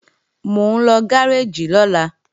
Mò ń lọ gáréèjì lọ́la